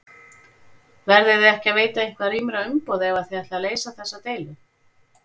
Verðiði ekki að veita eitthvað rýmra umboð ef að þið ætlið að leysa þessa deilu?